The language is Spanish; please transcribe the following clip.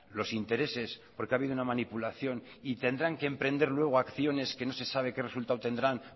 los intereses porque ha habido una manipulación y tendrán que emprender luego acciones que no se sabe qué resultados tendrán